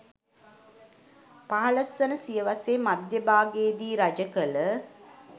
15 වන සියවසේ මධ්‍ය භාගයේදී රජකළ